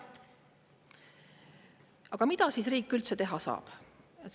Aga mida riik üldse teha saab?